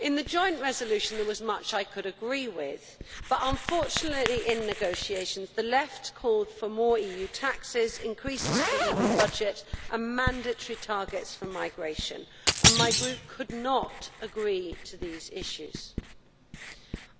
In the joint resolution there was much I could agree with but, unfortunately, in negotiations the Left called for more EU taxes, increases to the EU budget and mandatory targets for migration, and my Group could not agree to these issues.